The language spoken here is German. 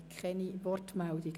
Ich sehe keine Wortmeldungen.